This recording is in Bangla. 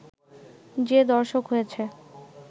যে দর্শক হয়েছে